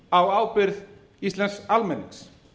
á ábyrgð íslensks almennings